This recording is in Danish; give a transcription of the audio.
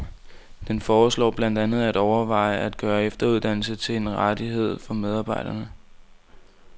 Den foreslår blandt andet at overveje at gøre efteruddannelse til en rettighed for medarbejderne.